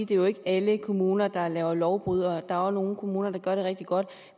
det jo ikke er alle kommuner der er lovbrydere der er også nogle kommuner der gør det rigtig godt